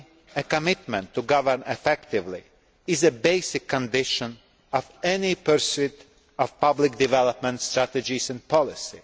The commitment to govern effectively is a basic condition of any pursuit of public development strategies and policy.